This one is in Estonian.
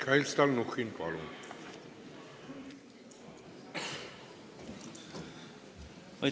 Mihhail Stalnuhhin, palun!